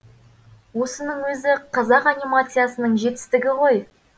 осының өзі қазақ анимациясының жетістігі ғой